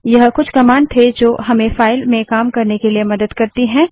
यह कुछ कमांड थे जो हमें फाइल में काम करने के लिए मदद करती हैं